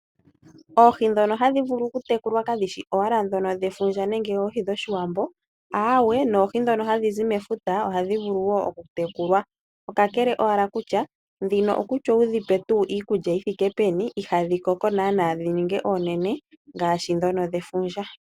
Oohi dhono hadhi vulu oku tekulwa kayi shi owala dhono dhefundja nenge oohi dhoshiwambo aawe noohi dho hadhizi mefuta, ohadhi vulu okutekulwa. Okakakele owala dhino nando wudhipe iikulya yithike peni ihadhi koko naana dhafa dhefundja.